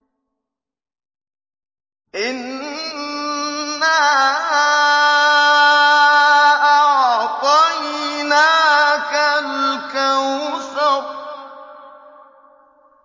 إِنَّا أَعْطَيْنَاكَ الْكَوْثَرَ